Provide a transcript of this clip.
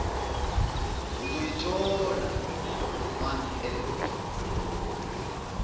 uzoyithola month end